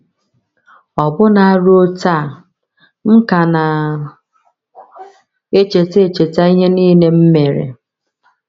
“ Ọbụna ruo taa, m ka na - echeta - echeta ihe nile m mere.